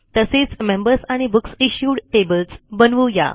तसेच मेंबर्स आणि बुकसिश्यूड टेबल्स बनवू या